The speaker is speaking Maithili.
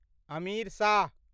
अमीर शाह